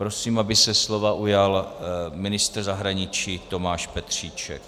Prosím, aby se slova ujal ministr zahraničí Tomáš Petříček.